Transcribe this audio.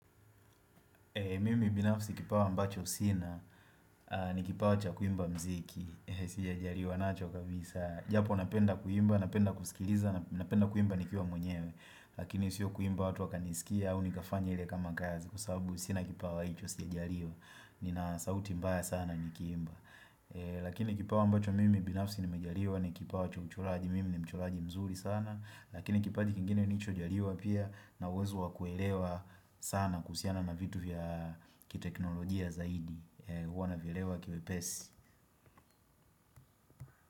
Mimi binafsi kipawa ambacho sina, ni kipawa cha kuimba mziki, sija jariwa nacho kabisa, japo napenda kuimba, napenda kusikiliza, napenda kuimba nikiwa mwenyewe, lakini siyo kuimba watu wakanisikia, au nikafanya hile kama kazi, kwa sabu sina kipawa hicho sija jariwa, nina sauti mbaya sana nikiimba. Lakini kipawa ambacho mimi binafsi nimejariwa ni kipawa cha uchoraji mimi ni mchoraji mzuri sana Lakini kipaji kingine nirichojariwa pia na uwezo wa kuelewa sana kuhusiana na vitu vya kiteknolojia zaidi Uwa navielewa kiwepesi.